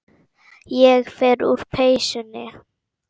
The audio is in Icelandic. Ég fer úr peysunni.